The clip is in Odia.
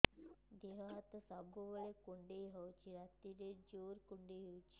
ଦେହ ହାତ ସବୁବେଳେ କୁଣ୍ଡିଆ ହଉଚି ରାତିରେ ଜୁର୍ କୁଣ୍ଡଉଚି